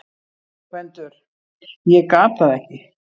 GVENDUR: Ég gat það ekki!